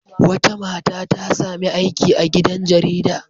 Wata mata ta sami aiki a gidan jarida.